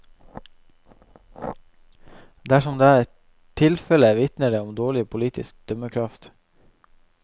Dersom det er tilfelle, vitner det om dårlig politisk dømmekraft.